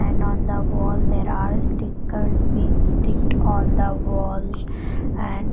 And on the wall there are stickers been sticked on the walls and--